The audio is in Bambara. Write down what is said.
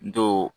Dɔw